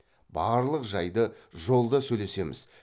барлық жайды жолда сөйлесеміз